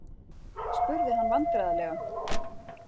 spurði hann vandræðalega.